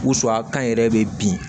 Wusulan kan yɛrɛ bɛ bin